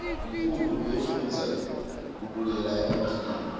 mkhulu uyafoudza kubukela emafilimu